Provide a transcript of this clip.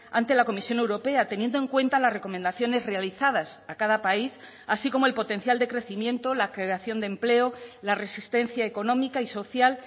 ante la comisión europea teniendo en cuenta las recomendaciones realizadas a cada país así como el potencial de crecimiento la creación de empleo la resistencia económica y social